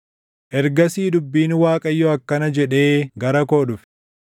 Ergasii dubbiin Waaqayyoo akkana jedhee gara koo dhufe;